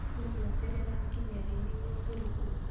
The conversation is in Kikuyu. Tũgweterera nginya rĩ nĩguo tũrĩhwo?